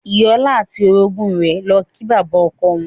Ìyá ọlá àti orogún rẹ̀ lọ kí bàbá ọkọ wọn.